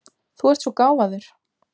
Þú ert svo gáfaður!